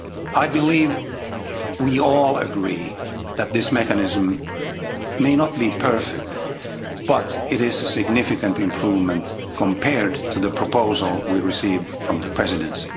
I believe we all agree that this mechanism may not be perfect, but it is a significant improvement compared to the proposal we received from the Presidency.